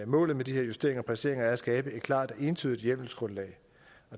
målet med de her justeringer og præciseringer er at skabe et klart og entydigt hjemmelsgrundlag